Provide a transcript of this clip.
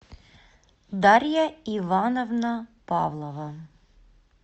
дарья ивановна павлова